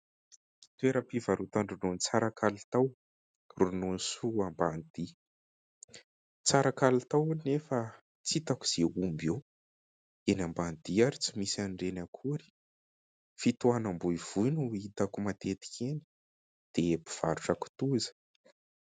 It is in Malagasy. Toera-pivarotan-dronono tsara kalitao : Ronono soa Ambanidia tsara kalitao, nefa tsy hitako izay omby eo, eny Ambanidia ary tsy misy an'ireny akory ; fitohanam-boivoy no hitako matetika eny, dia mpivarotra kitoza.